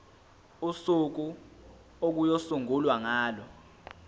usuku okuyosungulwa ngalo